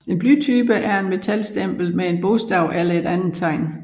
En blytype er et metalstempel med et bogstav eller et andet tegn